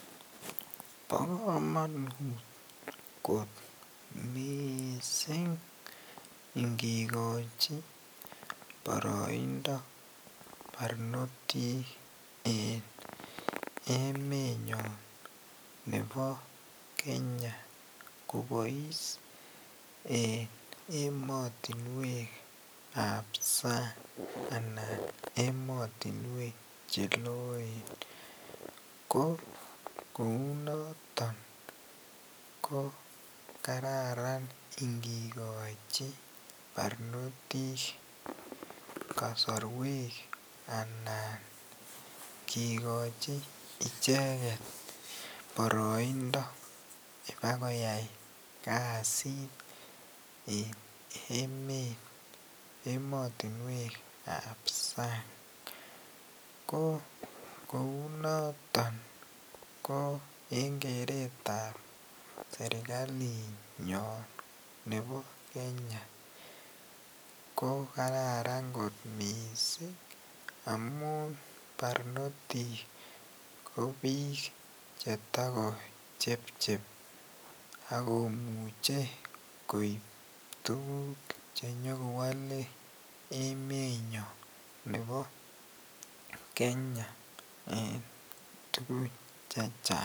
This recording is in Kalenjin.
Bokomonut kot mising ingikochi boroindo barnotik en emenyon nebo Kenya kobois en emotinwekab sang anan emotinwek cheloen, ko kounoton ko kararan ingikochi barnotik kosorwek anan kikochi icheket boroindo bakoyai kasiit en emotinwekab sang ko kounoton ko en keretab serikalinyon nebo Kenya ko kararn kot mising amun barnotik ko biik chetokochepchep ak komuche koib tukuk chenyokowolen emenyon nebo Kenya en tukun chechang.